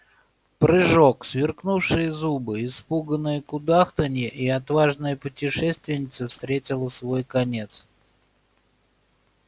прыжок сверкнувшие зубы испуганное кудахтанье и отважная путешественница встретила свой конец